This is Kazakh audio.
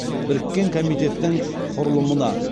біріккен комитеттің құрылымына